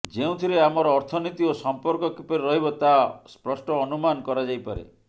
ଯେଉଁଥିରେ ଆମର ଅର୍ଥନୀତି ଓ ସମ୍ପର୍କ କିପରି ରହିବ ତାହା ସ୍ପଷ୍ଟ ଅନୁମାନ କରାଯାଇପାରେ